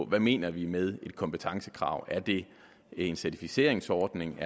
hvad mener vi med et kompetencekrav er det en certificeringsordning